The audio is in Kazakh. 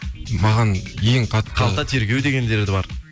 маған ең қалта тергеу дегендер де бар